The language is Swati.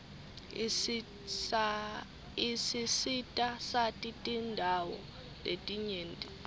isisitasati tindawo letinyenti